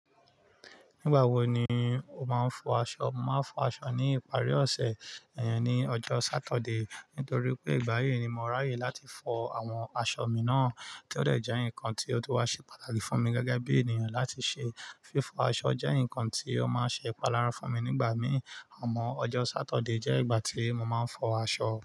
Nígbà wo ni o máa ń fọ aṣọ? Mo máa ń fọ aṣọ ní ìparí ọ̀sẹ̀, iyin ní ọjọ́ sátọ̀dé. Nítorí pé ìgbà yí ni mo ráyè láti fọ àwọn aṣọ mi náà, tí ó dẹ jẹ́ nǹkan tí ó ti wá ṣe pàtàkì fún mi gẹ́gẹ́ bí ènìyàn láti ṣe. Fífọ aṣọ jẹ́ nǹkan tí ó máa ń ṣe ìpalára fún mi nígbà mí. Àmọ́ ọjọ́ sátọ̀dé jẹ́ ìgbà tí mo máa ń fọ aṣọ.